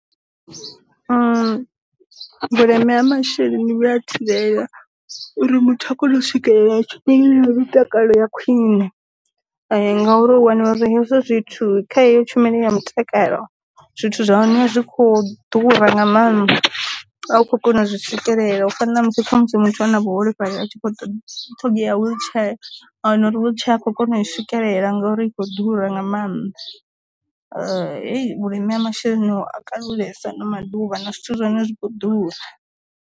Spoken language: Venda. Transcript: Vhuleme ha masheleni vhuya thivhela uri muthu a kone u swikelela tshumelo ya mutakalo ya khwine, ngauri u wana hezwo zwithu kha heyo tshumelo ya mutakalo zwithu zwine a zwi kho ḓura nga maanḓa a u khou kona u zwi swikelela u fana na musi kha musi muthu a re na vhuholefhali a tshi kho ṱhogea wheelchair a wana uri wheelchair a khou kona u swikelela ngauri i khou ḓura nga maanḓa, heyi vhulime ha masheleni a kulesa ano maḓuvha na zwithu zwa hone zwikho ḓura.